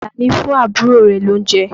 Àlàní fún àbúrò rẹ̀ lóunjẹ.